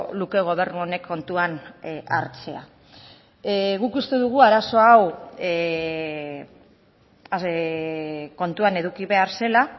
luke gobernu honek kontuan hartzea guk uste dugu arazo hau kontuan eduki behar zela